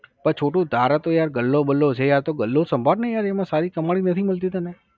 પણ છોટું તારે તો યાર ગલ્લો બલ્લો છે આ તો ગલ્લો સંભાળ ને યાર એમાં સારી કમાણી નથી મળતી તને?